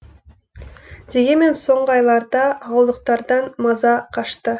дегенмен соңғы айларда ауылдықтардан маза қашты